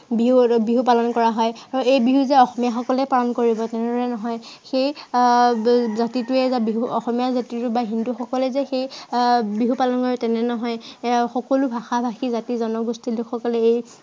বিহু এৰ বিহু পালন কৰা হয়। আৰু এই বিহু যে অসমীয়াসকলে পালন কৰিব, তেনেদৰে নহয়, সেই আহ জাতিটোৱে বা বিহু অসমীয়া জাতিটোৱে বা হিন্দুসকলে যে সেই বিহু পালন কৰে তেনে নহয়। সেই আহ যে অকল সকলো ভাষা-ভাষী, জাতি জনগোষ্ঠীৰ লোক সকলে এই